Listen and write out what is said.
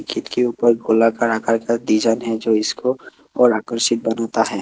खिड़की ऊपर गोलाकार आकार का डिजाइन है जो इसको और आकर्षित बनाता है।